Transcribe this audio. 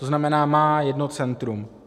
To znamená, má jedno centrum.